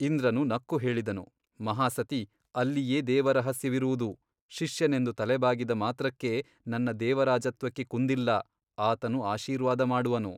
ಇಂದ್ರನು ನಕ್ಕು ಹೇಳಿದನು ಮಹಾಸತಿ ಅಲ್ಲಿಯೇ ದೇವರಹಸ್ಯವಿರುವುದು ಶಿಷ್ಯನೆಂದು ತಲೆಬಾಗಿದ ಮಾತ್ರಕ್ಕೆ ನನ್ನ ದೇವರಾಜತ್ವಕ್ಕೆ ಕುಂದಿಲ್ಲ ಆತನು ಆಶೀರ್ವಾದ ಮಾಡುವನು.